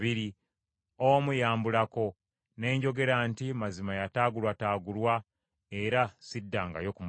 omu yambulako, ne njogera nti mazima yataagulwataagulwa; era siddangayo kumulaba.